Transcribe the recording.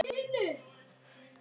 Og það varð raunin.